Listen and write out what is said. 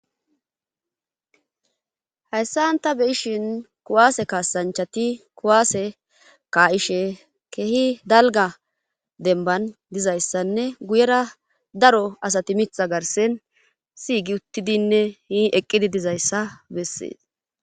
Hayssanta beyishin kuwaase kaasanchati kuwaase kaa'ishe kehi dalga denban dizayssanne guyera daro asati mitha garsen siygi uttidinne hi eqqidi dizayssa bessees